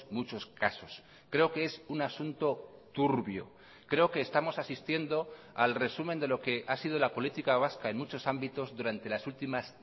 muchos casos creo que es un asunto turbio creo que estamos asistiendo al resumen de lo que ha sido la política vasca en muchos ámbitos durante las últimas